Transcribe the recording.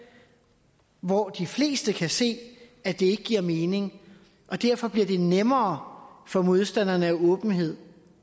hvor de fleste kan se at det ikke giver mening derfor bliver det nemmere for modstanderne af åbenhed